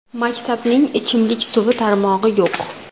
Maktabning ichimlik suvi tarmog‘i yo‘q.